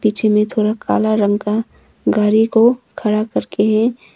पीछे में थोड़ा काला रंग का गाड़ी को खड़ा करके है।